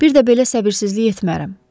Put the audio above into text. Bir də belə səbirsizlik etmərəm.